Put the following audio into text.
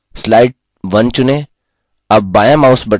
slide 1 चुनें